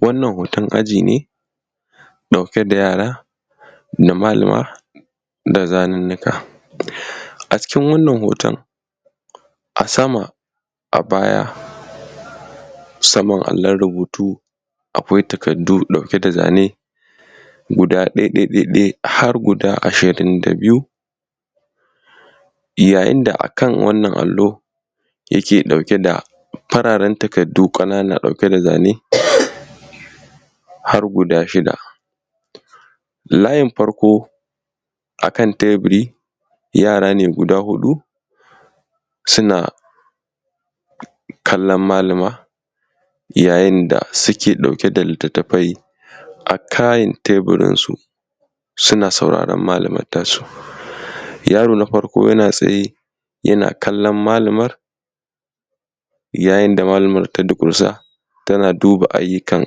wannan hoton aji ne ɗauke da yara da malama da zanunnuka a cikin wannan hoton a sama a baya saman allon rubutu akwai takardu ɗauke da zane guda ɗai ɗai ɗai ɗai har guda ishirin da biyu yayin da a kan wannan allo yake ɗauke da fararen takardu ƙanana ɗauke da zane har guda shida layin farko a kan teburi yara ne guda huɗu suna kallon malama yayin da suke ɗauke da littattafai a kan teburin su suna sauraron malaman ta su yaro na farko yana tsaye yana kallon malamar yayin da malaman ta durƙusa tana duba aiyukan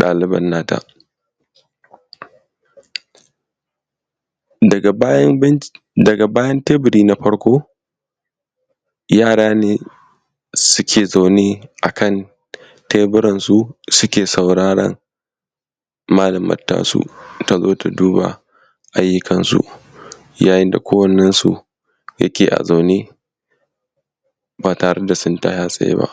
ɗaliban na ta daga bayan teburi na farko yara ne suke zaune a kan teburansu su ke sauraron malaman ta su ta zo ta duba aiyyukan su yayin da kowannen su yake a zaune ba tare da sun tsaya a tsaye ba